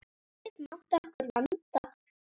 Ekkert mátti okkur vanta.